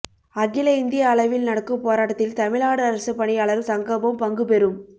அகில இந்திய அளவில் நடக்கும் போராட்டத்தில் தமிழ்நாடு அரசு பணியாளர் சங்கமும் பங்குபெறும்